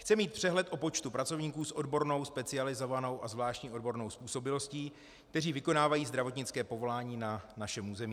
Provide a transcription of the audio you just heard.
Chce mít přehled o počtu pracovníků s odbornou, specializovanou a zvláštní odbornou způsobilostí, kteří vykonávají zdravotnické povolání na našem území.